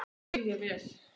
Það skil ég vel!